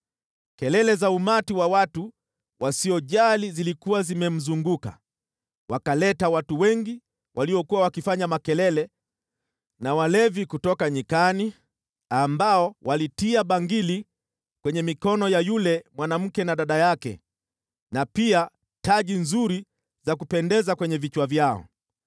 “Kelele za umati wa watu wasiojali zilikuwa zimemzunguka, wakaleta watu wengi waliokuwa wakifanya makelele na walevi kutoka nyikani, ambao walitia bangili kwenye mikono ya yule mwanamke na dada yake na pia taji nzuri za kupendeza kwenye vichwa vyao.